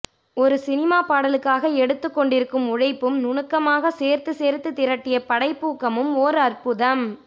ஒரு சினிமாப்பாடலுக்காக எடுத்துக்கொண்டிருக்கும் உழைப்பும் நுணுக்கமாக சேர்த்துச் சேர்த்து திரட்டிய படைப்பூக்கமும் ஓர் அற்புதம்